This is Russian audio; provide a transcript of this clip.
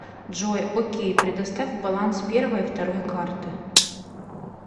джой окей предоставь баланс первой и второй карты